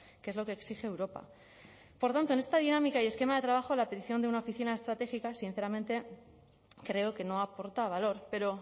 que es lo que exige europa por tanto en esta dinámica y esquema de trabajo la petición de una oficina estratégica sinceramente creo que no aporta valor pero